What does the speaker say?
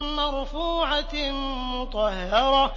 مَّرْفُوعَةٍ مُّطَهَّرَةٍ